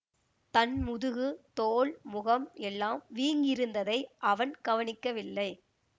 தன் முதுகு தோள் முகம் எல்லாம் வீங்கியிருந்ததை அவன் கவனிக்கவில்லை